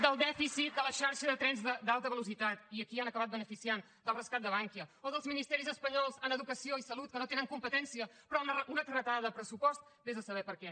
del dèficit de la xarxa de trens d’alta velocitat i a qui han acabat beneficiant del rescat de bankia o dels ministeris espanyols en educació i salut que no tenen competència però una carretada de pressupost vés a saber per què